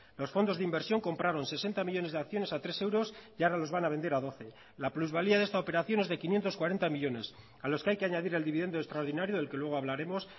los fondos de inversión compraron sesenta millónes de acciones a tres euros y ahora los van a vender a doce la plusvalía de esta operación es de quinientos cuarenta millónes a los que hay que añadir el dividendo extraordinario del que luego hablaremos